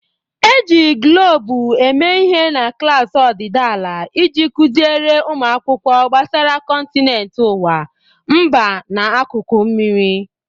E ji Guloobu mee ihe na klaasị ọdịdị ala iji kuziere ụmụ akwụkwọ gbasara kọntinent ụwa, mba na akụkụ mmiri.